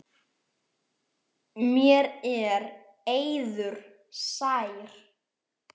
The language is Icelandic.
Mér er eiður sær.